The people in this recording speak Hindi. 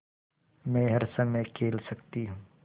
मै हर समय खेल सकती हूँ